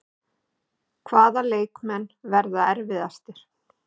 Hvaða leikmenn verða erfiðastir?